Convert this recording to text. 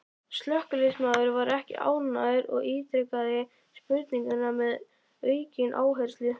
Slökkviliðsmaðurinn var ekki ánægður og ítrekaði spurninguna með aukinn áherslu.